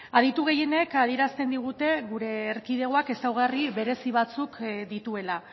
aditu gehienek adierazten digute gure erkidegoak ezaugarri berezi batzuk dituela